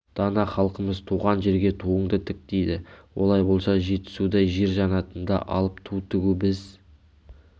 дана халқымыз туған жерге туыңды тік дейді олай болса жетісудай жер жаннатында алып ту тігу біз